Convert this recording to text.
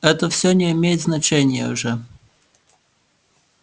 это всё не имеет значения уже